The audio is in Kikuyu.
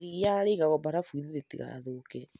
Iria rĩigagwo barafu-inĩ rĩtigathũke.